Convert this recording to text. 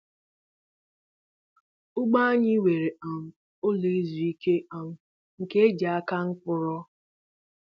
Ugbo anyị nwere um ụlọ izu ike um nke e ji aka nkwụ rụọ.